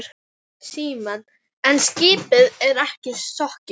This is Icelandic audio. Símon: En skipið er ekki sokkið?